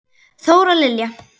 Þóra Lilja.